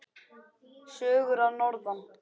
Sögur að norðan.